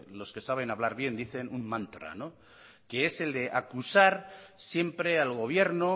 los que saben hablar bien dicen un mantra que es el de acusar siempre al gobierno